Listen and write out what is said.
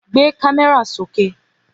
Gbé kámẹ́rà sókè